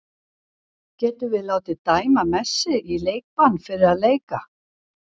Getum við látið dæma Messi í leikbann fyrir að leika?